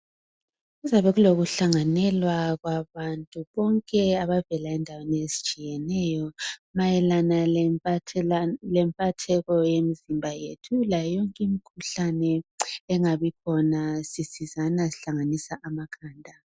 Kuzakube kulokuhlanganelwa kwabantu Bonke abavela endaweni ezitshiyeneyo. Mayelana lempathelano, lempatheko, yemzimba yethu. Layo yonke imikhuhlane, engabikhona. Sisizana, sihlanganisa amakhanda.